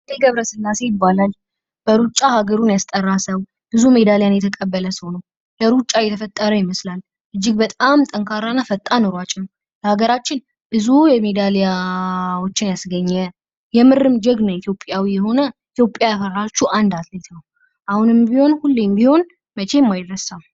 ሀይሌ ገብረ ሥላሴ ይባላል። በሩጫ ሀገሩን ያስጠራ ሰው ብዙ ሜዳሊያን የተቀበለ ሰው ነው። ለሩጫው የተፈጠረ ይመስላል ።እጅግ በጣም ጠንካራ እና ፈጣን ኑሯጭ ነው። ለአገራችን ብዙ የሚዲያዎችን ያስገኘ የምርም ጀግና ኢትዮጵያዊው የሆነ ኢትዮጵያዊ ያፈራችው አንድ አትሌት ነው። አሁንም ቢሆን ሁሌም ቢሆን መቼም አይረሳም።